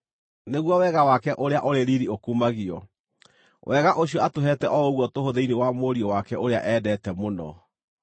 nĩguo wega wake ũrĩa ũrĩ riiri ũkumagio, wega ũcio atũheete o ũguo tũhũ thĩinĩ wa Mũriũ wake ũrĩa endete mũno.